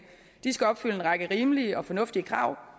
de skal opfylde en række rimelige og fornuftige krav